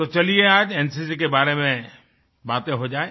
तो चलिए आज एनसीसी के बारे में बातें हो जाए